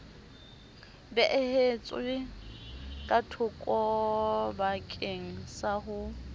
beehetswe ka thokobakeng sa ho